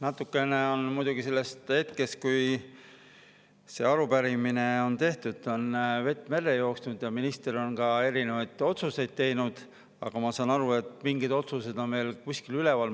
Natukene on muidugi sellest hetkest, kui see arupärimine on tehtud, vett merre jooksnud ja minister on ka erinevaid otsuseid teinud, aga ma saan aru, et mingid otsused on veel kuskil üleval.